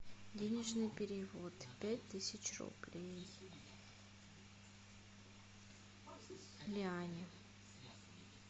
денежный перевод пять тысяч рублей лиане